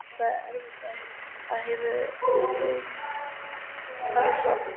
Það er erfiðast og hefur reynst tafsamt.